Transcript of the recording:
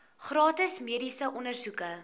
gratis mediese ondersoeke